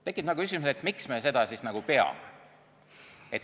Tekib küsimus, miks me seda peame.